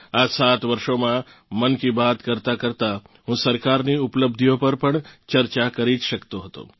આ સાત વર્ષોમાં મન કી બાત કરતાં કરતાં હું સરકારની ઉપલબ્ધિઓ પર પણ ચર્ચા કરી જ શકતો હતો